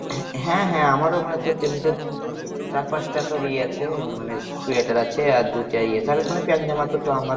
হ্যাঁ হ্যাঁ আমারও মানে তিনটে চারটে চার পাঁচটা তোর ই আছে। মানে সোয়েটার আছে আর দুটা ইয়ে তাহলে মানে প্যান্ট জামা তো আমার